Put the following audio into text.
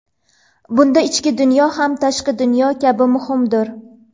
Bunda ichki dunyo ham tashqi dunyo kabi muhimdir.